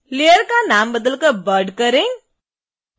layer का नाम बदलकर bud करें